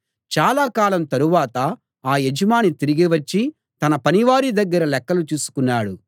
చాలా కాలం తరువాత ఆ యజమాని తిరిగి వచ్చి తన పనివారి దగ్గర లెక్కలు చూసుకున్నాడు